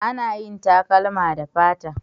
Ana yin takalma da fata